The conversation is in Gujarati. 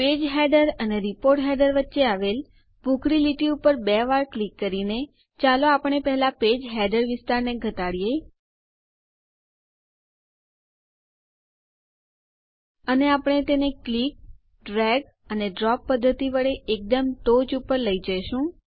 પેજ હેડર અને રિપોર્ટ હેડર વચ્ચે આવેલ ભૂખરી લીટી ઉપર બે વાર ક્લિક કરીને ચાલો આપણે પહેલા પેજ હેડર વિસ્તારને ઘટાડીએ અને આપણે તેને ક્લિક ડ્રેગ અને ડ્રોપ પદ્ધતિ વડે એકદમ ટોંચ ઉપર લઇ જઈશું